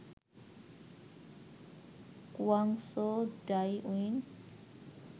Cairns, Darwin